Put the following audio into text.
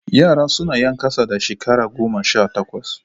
Yara su ne 'yan kasa da shekara goma sha takwas.